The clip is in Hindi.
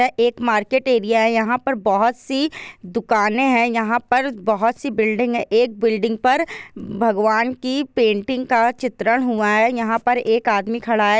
एक मार्केट एरिया हैं यहाँ पर बहुत सी दुकाने है यहाँ पर बहुत सी बिल्डिंग है एक बिल्डिंग पर भगवान की पेंटिंग का चित्रण हुआ है यहाँ पर एक आदमी खड़ा हैं।